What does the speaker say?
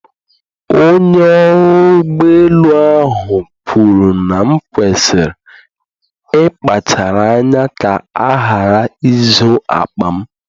Onye ọrụ ụgbọ elu ahụ kwuru na m kwesịrị ịkpachara anya ka a ghara izu akpa m